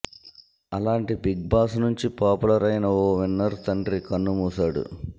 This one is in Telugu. అలాంటి బిగ్ బాస్ నుంచి పాపులర్ అయిన ఓ విన్నర్ తండ్రి కన్నుమూసాడు